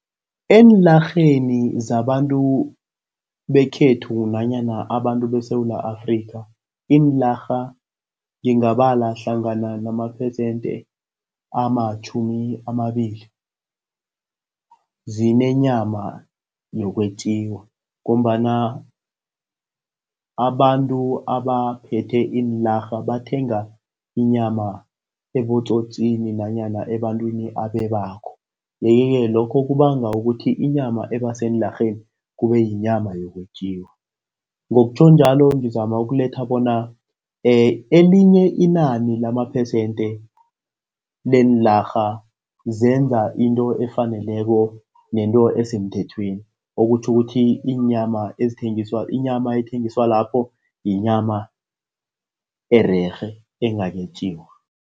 Eenlarheni zabantu bekhethu nanyana abantu beSewula Afrika, iinlarha ngingabala hlangana samaphesente amatjhumi amabili, zinenyama yokwetjiwa ngombana abantu abaphethe iilarha bathenga inyama ebotsotsini nanyana ebantwini abebako, yeke-ke lokho kubanga ukuthi inyama ebaseenlarheni kube yinyama yokwetjiwa. Ngokutjho njalo ngizama ukuletha bona elinye inani lamaphesente leenlarha zenza into efaneleko nento esemthethweni, okutjho ukuthi inyama ethengiswa lapho. yinyama ererhe engakayetjiwa.